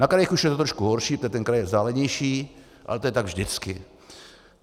Na krajích už je to trošku horší, protože ten kraj je vzdálenější, ale to je tak vždycky.